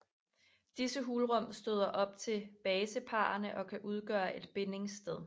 Disse hulrum støder op til baseparrene og kan udgøre et bindingssted